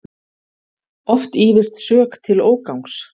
Oft ýfist sök til ógangs.